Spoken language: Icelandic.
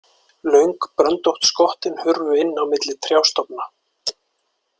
Löng bröndótt skottin hurfu inn á milli trjástofna.